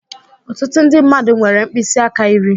Ọtụtụ ndị mmadụ nwere mkpịsị aka iri.